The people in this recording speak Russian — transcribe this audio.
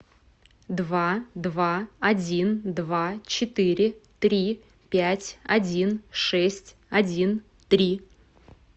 два два один два четыре три пять один шесть один три